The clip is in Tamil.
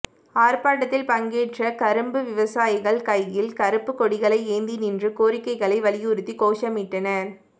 ஆா்ப்பாட்டத்தில் பங்கேற்ற கரும்பு விவசாயிகள் கைகளில் கருப்புக் கொடிகளை ஏந்தி நின்று கோரிக்கைகளை வலியுறுத்தி கோஷமிட்டனா்